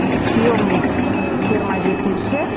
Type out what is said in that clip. съемник жиырма жетінші